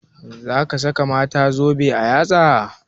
Za ka saka mata zobe a yatsa?